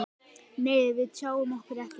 Nei, við tjáum okkur ekkert.